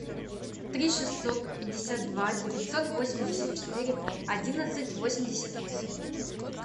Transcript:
три шестьсот пятьдесят два девятьсот восемьдесят четыре одиннадцать восемьдесят восемь